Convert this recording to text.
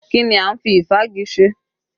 Kí ni a ń fi ìfági ṣe?